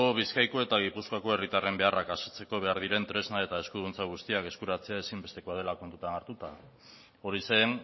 bizkaiko eta gipuzkoako herritarren beharrak asetzeko behar diren tresna eta eskuduntza guztiak eskuratzea ezinbestekoa dela kontutan hartuta hori zen